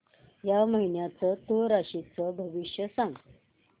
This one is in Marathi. या महिन्याचं तूळ राशीचं भविष्य सांग